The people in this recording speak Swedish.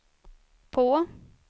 på